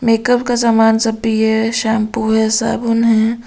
Makeup का समान सब भी है शैम्पू है साबुन है ।